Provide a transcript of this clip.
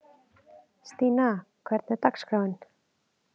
Stína, hvernig er dagskráin?